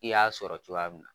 I y'a sɔrɔ cogoya min na.